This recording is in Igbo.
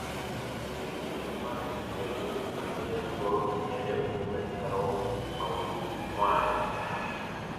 imirikiti mmadụ na-ewehie okwu banyere mbụrụ nyere okwu metụtara ụmụ um nwaanyị. um